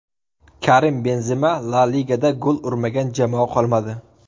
Karim Benzema La Ligada gol urmagan jamoa qolmadi.